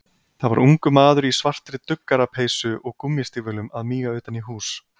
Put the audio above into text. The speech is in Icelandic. Það var ungur maður í svartri duggarapeysu og gúmmístígvélum að míga utan í hús.